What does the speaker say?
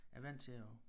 Er vant til at